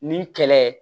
Nin kɛlɛ